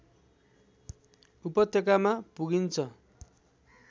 उपत्यकामा पुगिन्छ